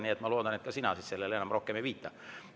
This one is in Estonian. Nii et ma loodan, et sa neile siis rohkem ei viita.